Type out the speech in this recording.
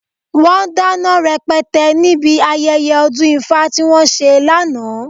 Wọ́n dáná rẹpẹtẹ níbi ayẹyẹ ọdún ifá tí wọ́n ṣe lánàá.